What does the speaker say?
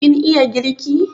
Kin iya girki?